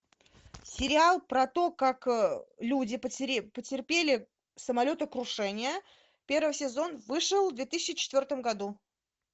сериал про то как люди потерпели самолетокрушение первый сезон вышел в две тысячи четвертом году